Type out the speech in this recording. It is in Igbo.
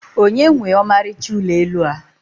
onye nwe ọmarịcha ụlọ elu a?